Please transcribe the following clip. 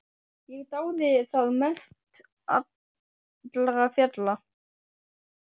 Ég dáði það mest allra fjalla, kannski einkum vegna nálægðarinnar.